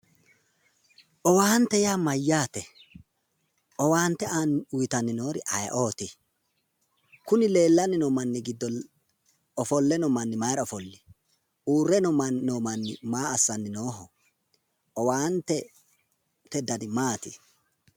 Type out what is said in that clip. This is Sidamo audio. owaante yaa mayyaate? owaante uuyitanni noori ayeeooti? kuni leellanni noo manni giddo ofolle noo manni maayiira ofolli? uurre noo manni maa assanni nooho? owaantete dani maati?